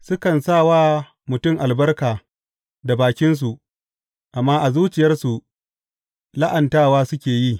Sukan sa wa mutum albarka da bakinsu, amma a zuciyarsu la’antawa suke yi.